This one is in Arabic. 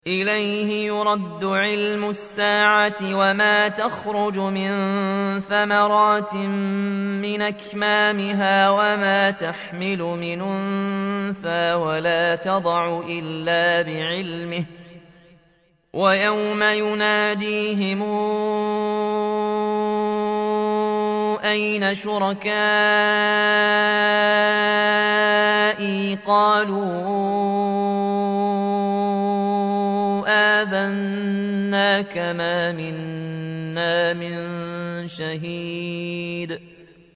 ۞ إِلَيْهِ يُرَدُّ عِلْمُ السَّاعَةِ ۚ وَمَا تَخْرُجُ مِن ثَمَرَاتٍ مِّنْ أَكْمَامِهَا وَمَا تَحْمِلُ مِنْ أُنثَىٰ وَلَا تَضَعُ إِلَّا بِعِلْمِهِ ۚ وَيَوْمَ يُنَادِيهِمْ أَيْنَ شُرَكَائِي قَالُوا آذَنَّاكَ مَا مِنَّا مِن شَهِيدٍ